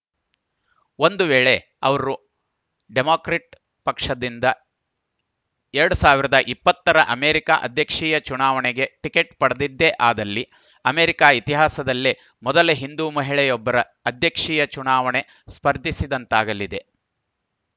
ಒಂದು ವೇಳೆ ಅವರು ಡೆಮಾಕ್ರಟ್‌ ಪಕ್ಷದಿಂದ ಎರಡ್ ಸಾವಿರದ ಇಪ್ಪತ್ತ ರ ಅಮೆರಿಕ ಅಧ್ಯಕ್ಷೀಯ ಚುನಾವಣೆಗೆ ಟಿಕೆಟ್‌ ಪಡೆದಿದ್ದೇ ಆದಲ್ಲಿ ಅಮೆರಿಕ ಇತಿಹಾಸದಲ್ಲೇ ಮೊದಲ ಹಿಂದೂ ಮಹಿಳೆಯೊಬ್ಬರು ಅಧ್ಯಕ್ಷೀಯ ಚುನಾವಣೆಗೆ ಸ್ಪರ್ಧಿಸಿದಂತಾಗಲಿದೆ